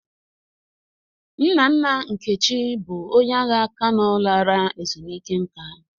Nna nna Nkechi bụ onye agha Kano lara ezumike nka.